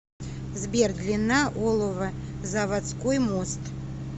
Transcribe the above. сбер длина оловозаводской мост